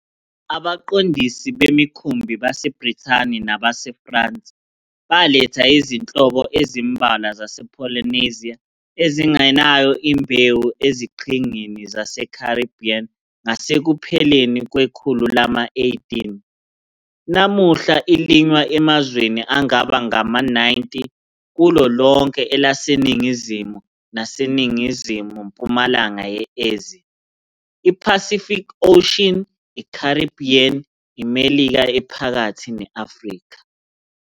Abaqondisi bemikhumbi baseBrithani nabaseFrance baletha izinhlobo ezimbalwa zasePolynesia ezingenayo imbewu eziqhingini zaseCaribbean ngasekupheleni kwekhulu lama-18. Namuhla ilinywa emazweni angaba ngama-90 kulo lonke elaseNingizimu nase Ningizimu-mpumalanga ye-Asia, iPacific Ocean, iCaribbean, iMelika Ephakathi ne-Afrika.